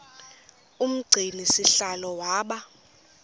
umgcini sihlalo waba